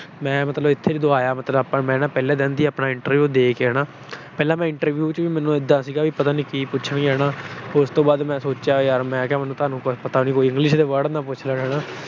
ਮੈਂ ਮਤਲਬ ਇੱਥੇ ਜਦੋਂ ਆਇਆ, ਮੈਂ ਪਹਿਲੇ ਦਿਨ ਆਪਣਾ interview ਦੇ ਕੇ ਹਨਾ। ਪਹਿਲਾ ਮੈਨੂੰ interview ਚ ਵੀ ਇਦਾਂ ਸੀ ਕਿ ਪਤਾ ਨੀ ਕੀ ਪੁੱਛਣਗੇ ਹਨਾ। ਉਸ ਤੋਂ ਬਾਅਦ ਮੈਂ ਸੋਚਿਆ ਯਾਰ ਮੈਨੂੰ ਤਾਂ ਪਤਾ ਨੀ ਕੋਈ English ਦੇ word ਨਾ ਪੁੱਛ ਲੈਣ ਹਨਾ।